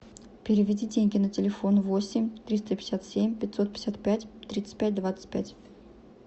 переведи деньги на телефон восемь триста пятьдесят семь пятьсот пятьдесят пять тридцать пять двадцать пять